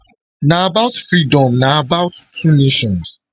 na about freedom na about two nations